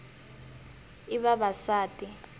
i ya vavasati